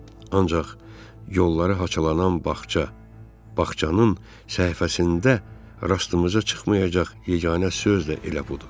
Ancaq yolları haçalanan bağça, bağçanın səhifəsində rastımıza çıxmayacaq yeganə söz də elə budur.